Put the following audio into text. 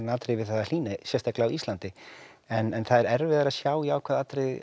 atriði við það að hlýni sérstaklega á Íslandi en það er erfiðara að sjá jákvæð atriði